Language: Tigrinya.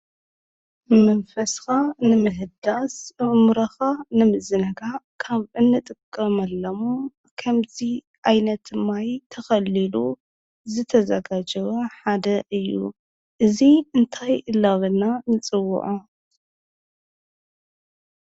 መንፈስካ ንምህዳስ ኣእሙረኻ ንምዝንጋዕ ካብ እንጥቀመሎም ከምዚ ዓይነት ማይ ተኸሊሉ ዝተዘጋጀወ ሓደ እዩ፡፡ እዙይ እንታይ እናበልና ንፅዎዖ?